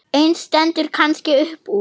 Ein stendur kannski upp úr.